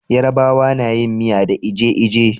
Yarabawa nayin miya da eje-eje